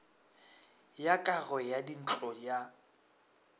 ya kago ya dintlo ya